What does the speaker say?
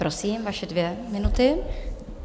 Prosím, vaše dvě minuty.